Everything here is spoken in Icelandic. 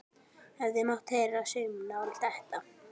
Hefði mátt heyra saumnál detta.